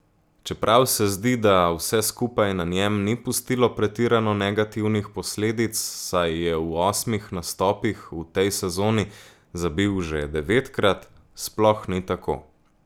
Čeprav se zdi, da vse skupaj na njem ni pustilo pretirano negativnih posledic, saj je v osmih nastopih v tej sezoni zabil že devetkrat, sploh ni tako.